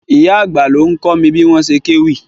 Ìyá àgbà ló ń kọ́ mi bí wọ́n ṣe kéwì.